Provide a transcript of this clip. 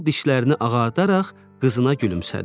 Qızıl dişlərini ağardaraq qızına gülümsədi.